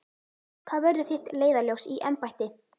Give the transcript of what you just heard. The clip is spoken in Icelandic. Hvað verður þitt leiðarljós í embætti?